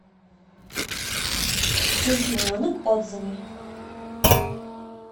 дельфиненок отзывы